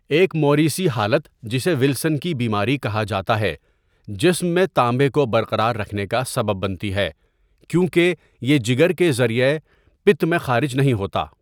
ایک موریثی حالت جسے ولسن کی بیماری کہا جاتا ہے جسم میں تانبے کو برقرار رکھنے کا سبب بنتی ہے کیونکہ یہ جگر کے ذریعہ پِت میں خارج نہیں ہوتا.